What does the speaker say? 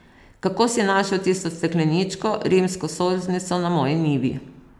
Kako si našel tisto stekleničko, rimsko solznico na moji njivi!